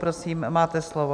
Prosím, máte slovo.